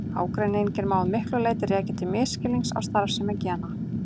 Ágreininginn má að miklu leyti rekja til misskilnings á starfsemi gena.